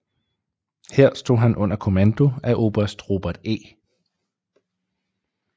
Her stod han under kommando af oberst Robert E